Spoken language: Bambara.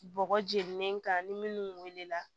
Bɔgɔ jeninen kan ni minnu wulila